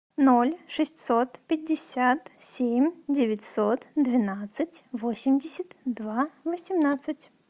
ноль шестьсот пятьдесят семь девятьсот двенадцать восемьдесят два восемнадцать